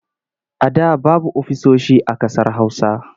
A da babu ofisoshi a ƙasar Hausa.